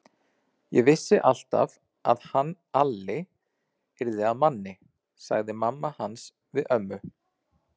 Ég vissi alltaf að hann Alli yrði að manni, sagði mamma hans við ömmu.